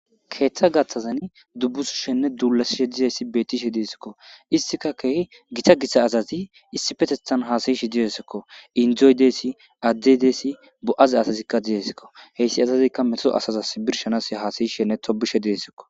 Keeththa gaththadan dubbusosheenne duullashiya beeththishe deesikko; issikka keehi githa githa asathi issipetheththan haasayishe deesikko;inddoy deesi,adde deesi,bo7a zaasasikka zeesikko; he asazikka meto asazassi birshshanaassi haasayisheedde tobbisheedde deesikko.